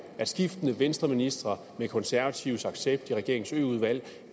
at skiftende venstreministre med konservatives accept i regeringens ø udvalg